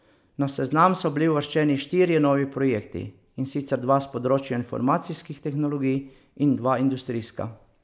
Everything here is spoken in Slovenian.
Na seznam so bili uvrščeni štirje novi projekti, in sicer dva s področja informacijskih tehnologij in dva industrijska.